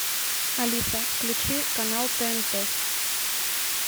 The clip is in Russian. алиса включи канал тнт